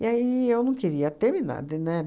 E aí eu não queria terminar de, né?